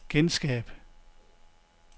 genskab